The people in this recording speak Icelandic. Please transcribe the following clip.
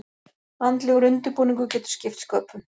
Andlegur undirbúningur getur skipt sköpum.